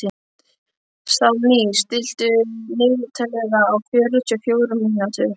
Salný, stilltu niðurteljara á fjörutíu og fjórar mínútur.